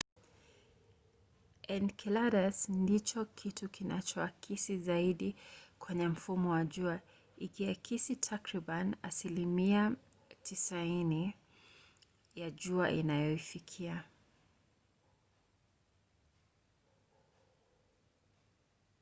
enceladus ndicho kitu kinachoakisi zaidi kwenye mfumo wa jua ikiakisi takribani asilimia 90 ya jua inayoifikia